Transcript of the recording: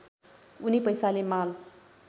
उनी पैसाले माल